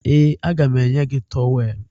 Ee, aga m enye gị tọweelụ